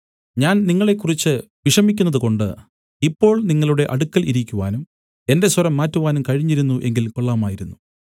ഞാൻ നിങ്ങളെക്കുറിച്ച് വിഷമിക്കുന്നതുകൊണ്ട് ഇപ്പോൾ നിങ്ങളുടെ അടുക്കൽ ഇരിക്കുവാനും എന്റെ സ്വരം മാറ്റുവാനും കഴിഞ്ഞിരുന്നു എങ്കിൽ കൊള്ളാമായിരുന്നു